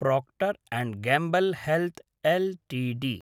Procter and Gamble health Ltd